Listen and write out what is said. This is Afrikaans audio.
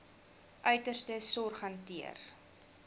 uiterste sorg hanteer